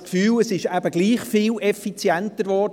Ich habe das Gefühl, es sei dennoch viel effizienter geworden: